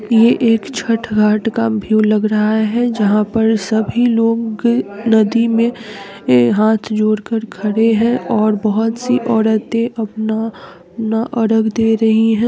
ये एक छठ घाट का व्यू लग रहा है जहाँ पर सभी लोग नदी मे हाथ जोड़कर खड़े हैं और बहुत सी औरते आपना ना अरग दे रही हैं ।